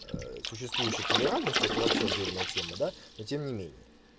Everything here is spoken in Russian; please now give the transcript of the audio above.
существующие толерантность это вообще отдельная тема да но тем не менее